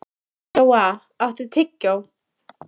Jóa, áttu tyggjó?